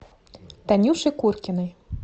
танюше куркиной